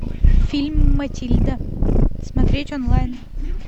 фильм матильда смотреть онлайн